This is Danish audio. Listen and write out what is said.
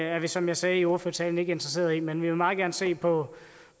er vi som jeg sagde i ordførertalen ikke interesseret i men vi vil meget gerne se på